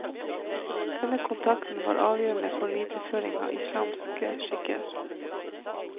Denne kontakten var avgjørende for videreføring av islamske skikker.